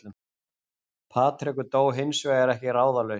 Patrekur dó hins vegar ekki ráðalaus